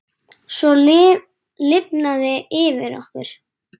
Svo lifnaði yfir honum.